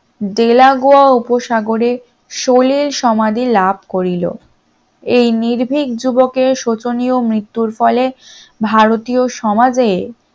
Delagoa উপসাগরে সলিল সমাধি লাভ করিল এই নির্ভীক যুবকের শোচনীয় মৃত্যুর ফলে ভারতীয় সমাজে